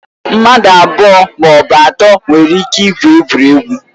Mmadụ abụọ ma ọ bụ atọ nwere ike igwu egwuregwu.